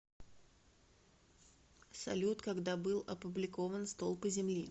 салют когда был опубликован столпы земли